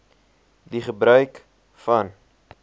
die gebruik van